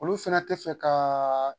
Olu fɛnɛ tɛ fɛ ka